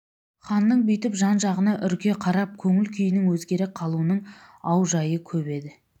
ханның бүйтіп жан-жағына үрке қарап көңіл күйінің өзгере қалуының аужайы көп еді